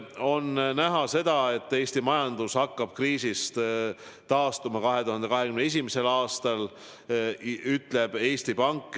On näha, et Eesti majandus hakkab kriisist taastuma 2021. aastal, ütleb Eesti Pank.